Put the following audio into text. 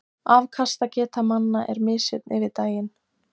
Afkastageta manna er misjöfn yfir daginn.